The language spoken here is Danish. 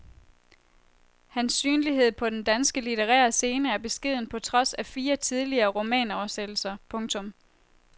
Hans synlighed på den danske litterære scene er beskeden på trods af fire tidligere romanoversættelser. punktum